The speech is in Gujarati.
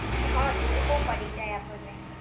હા, દૂર બો પડી જાય આપણને.